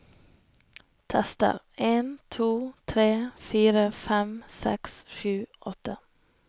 Tester en to tre fire fem seks sju åtte